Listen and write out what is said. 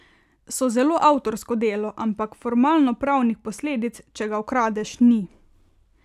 So zelo avtorsko delo, ampak formalnopravnih posledic, če ga ukradeš, ni.